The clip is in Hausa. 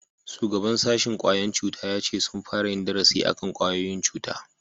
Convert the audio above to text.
shugaban sashin ƙwayan cuta ya ce sun fara yin darasi akan kwayoyin cuta